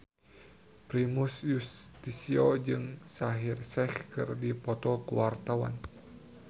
Primus Yustisio jeung Shaheer Sheikh keur dipoto ku wartawan